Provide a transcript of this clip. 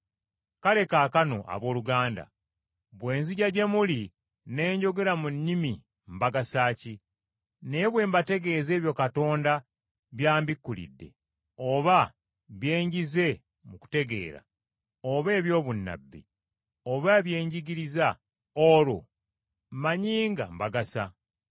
Kale kaakano, abooluganda, bwe nzija gye muli ne njogera mu nnimi mbagasa ntya? Naye bwe mbategeeza ebyo Katonda by’ambikulidde oba bye njize mu kutegeera, oba eby’obunnabbi, oba bye njigiriza, olwo mmanyi nga mbagasa.